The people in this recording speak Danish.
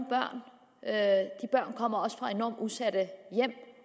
børn kommer også fra enormt udsatte hjem